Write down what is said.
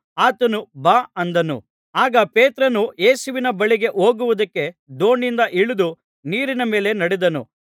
ಆತನು ಬಾ ಅಂದನು ಆಗ ಪೇತ್ರನು ಯೇಸುವಿನ ಬಳಿಗೆ ಹೋಗುವುದಕ್ಕೆ ದೋಣಿಯಿಂದ ಇಳಿದು ನೀರಿನ ಮೇಲೆ ನಡೆದನು